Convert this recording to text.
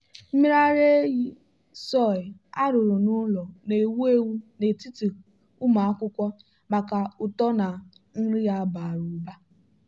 mmiri ara ehi soy arụrụ n'ụlọ na-ewu ewu n'etiti ụmụ akwụkwọ maka uto na nri ya bara ụba.